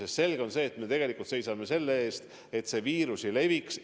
On selge, et me tegelikult seisame selle eest, et viirus ei leviks.